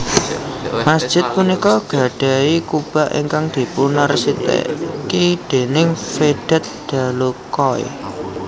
Masjid punika gadhahi kubah ingkang dipunarsiteki déning Vedat Dalokay